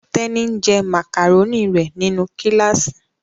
Teni, njé macaroni rẹ nínú kilasi.